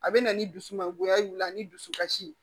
A bɛ na ni dusu mangoya ye o la ni dusukasi